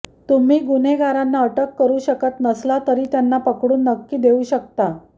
तुम्ही गुन्हेगारांना अटक करू शकत नसला तरी त्यांना पकडून नक्की देवू शकता